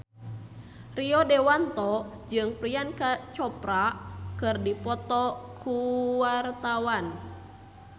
Rio Dewanto jeung Priyanka Chopra keur dipoto ku wartawan